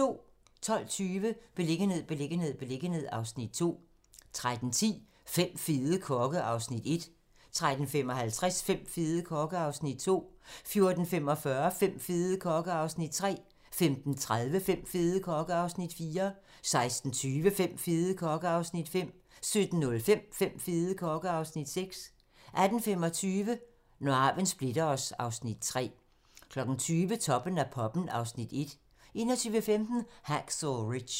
12:20: Beliggenhed, beliggenhed, beliggenhed (Afs. 2) 13:10: Fem fede kokke (Afs. 1) 13:55: Fem fede kokke (Afs. 2) 14:45: Fem fede kokke (Afs. 3) 15:30: Fem fede kokke (Afs. 4) 16:20: Fem fede kokke (Afs. 5) 17:05: Fem fede kokke (Afs. 6) 18:25: Når arven splitter os (Afs. 3) 20:00: Toppen af poppen (Afs. 1) 21:15: Hacksaw Ridge